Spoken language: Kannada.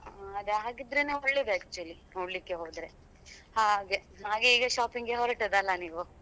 ಹ್ಮ್ ಹಾಗಿದ್ರೆನೆ ಒಳ್ಳೇದೇ actually ನೋಡ್ಲಿಕ್ಕೆ ಹೋದ್ರೆ ಹಾಗೆ ಹಾಗೆ ಈಗ shopping ಹೊರಟದ್ದಲ್ಲ ನೀವು?